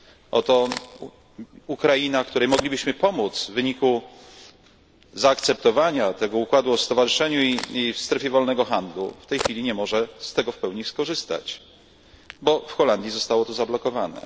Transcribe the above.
Oto Ukraina, której moglibyśmy pomóc w wyniku zaakceptowania tego układu o stowarzyszeniu i strefie wolnego handlu, w tej chwili nie może z tego w pełni skorzystać, bo w Holandii zostało to zablokowane.